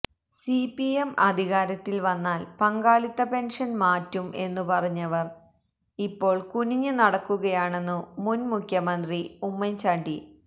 CPM അധികാരത്തിൽ വന്നാൽ പങ്കാളിത്ത പെൻഷൻ മാറ്റും എന്നു പറഞ്ഞവർ ഇപ്പോൾ കുനിഞ്ഞു നടക്കുകയാണെന്നു മുൻമുഖ്യമന്ത്രി ഉമ്മൻചാണ്ടി